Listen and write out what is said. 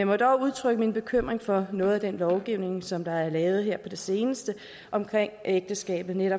må dog udtrykke min bekymring for noget af den lovgivning som der er lavet her på det seneste omkring ægteskabet nemlig